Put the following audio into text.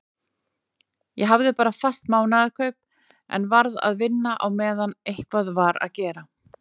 Ég hafði bara fast mánaðarkaup en varð að vinna á meðan eitthvað var að gera.